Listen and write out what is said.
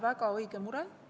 Väga õige mure.